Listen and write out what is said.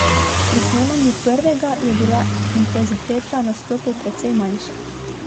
Pri snemanju prvega je bila intenziteta nastopov precej manjša ...